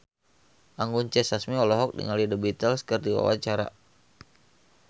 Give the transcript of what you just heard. Anggun C. Sasmi olohok ningali The Beatles keur diwawancara